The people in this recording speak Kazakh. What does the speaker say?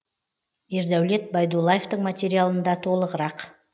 ердәулет байдуллаевтың материалында толығырақ